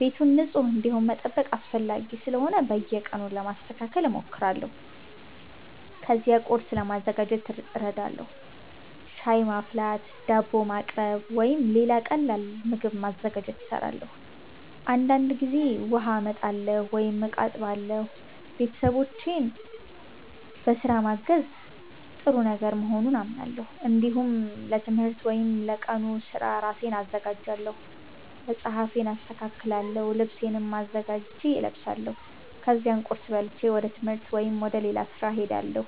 ቤቱ ንጹህ እንዲሆን መጠበቅ አስፈላጊ ስለሆነ በየቀኑ ለማስተካከል እሞክራለሁ። ከዚያ ቁርስ ለማዘጋጀት እረዳለሁ። ሻይ ማፍላት፣ ዳቦ ማቅረብ ወይም ሌላ ቀላል ምግብ ማዘጋጀት እሰራለሁ። አንዳንድ ጊዜ ውሃ አመጣለሁ ወይም እቃ አጥባለሁ። ቤተሰቦቼን በስራ ማገዝ ጥሩ ነገር መሆኑን አምናለሁ። እንዲሁም ለትምህርት ወይም ለቀኑ ስራ ራሴን አዘጋጃለሁ። መጽሐፌን አስተካክላለሁ፣ ልብሴንም አዘጋጅቼ እለብሳለሁ። ከዚያ ቁርስ በልቼ ወደ ትምህርት ወይም ወደ ሌላ ስራ እሄዳለሁ።